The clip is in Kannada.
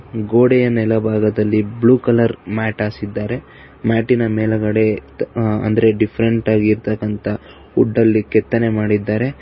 ಗೋಡೆಯ ನೆಲ ಭಾಗದಲ್ಲಿ ಬ್ಲೂ ಕಲರ್ ಮ್ಯಾಟ್ ಹಾಸಿದ್ದಾರೆ ಮ್ಯಾಟಿನ ಮೇಲ್ಗಡೆ ಅಂದ್ರೆ ಡಿಫ್ರೆಂಟಾಗಿ ಇರತಕ್ಕಂತ ವುಡ್ ಕೆತ್ತನೆ ಮಾಡಿದ್ದಾರೆ.